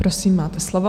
Prosím, máte slovo.